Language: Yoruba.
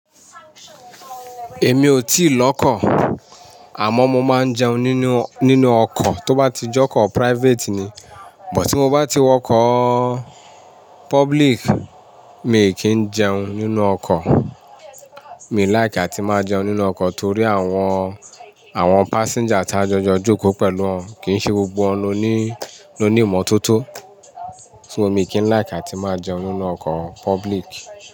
Èmi ò tí lọ́kọ̀, àmọ́ mo máa ń jẹun nínú, nínú ọkọ̀ tó bá ti jẹ́ ọkọ̀ private ni. Bò tí mo bá ti wọkọ̀ public, mi kì í jẹun nínú ọkọ̀. Mi ò like atí máa jẹun nínú ọkọ̀ torí àwọn, àwọn passenger tá jọjọ jókòó pẹ̀lú wọn kìí ṣe gbogbo wọn ló ní, ló ní ìmọ́tótó. Fún mi kì í like tí máa jẹun nínú ọkọ̀ public.